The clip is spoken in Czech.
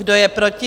Kdo je proti?